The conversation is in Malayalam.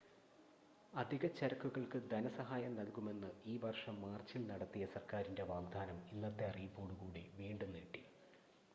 അധിക ചരക്കുകൾക്ക് ധന സഹായം നൽകുമെന്ന് ഈ വർഷം മാർച്ചിൽ നടത്തിയ സർക്കാരിൻ്റെ വാഗ്ദാനം ഇന്നത്തെ അറിയിപ്പോടു കൂടി വീണ്ടും നീട്ടി